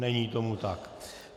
Není tomu tak.